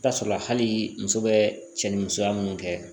I bi taa sɔrɔ hali muso bɛ cɛ ni musoya munnu kɛ